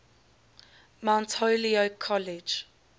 mount holyoke college